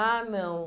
Ah, não.